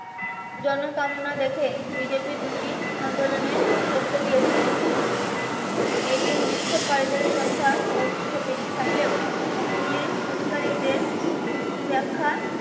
জন কামনা দেখে বিজিপির দুইটি আন্দোলন ভেস্তে দিয়েছে পুলিশ এই দিন বিক্ষোপ কারীদের সংখ্যা যথেষ্ট বেশি থাকলেও পুলিশ অধিকারীদের ব্যাখ্যা